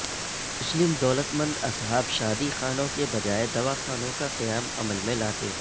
مسلم دولتمند اصحاب شادی خانوں کے بجائے دواخانوں کا قیام عمل میں لاتے